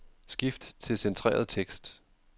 Skift til centreret tekst.